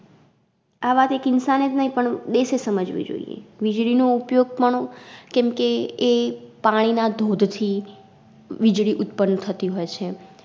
આ વાત એક इंसान એજ નઇ પણ દેશ એે સમજવી જોઈએ વીજળી નો ઉપયોગ પણ કેમકે એ પાણીના ધોધ થી વીજળી ઉત્પન થતી હોય છે.